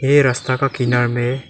ये रास्ता का किनार में--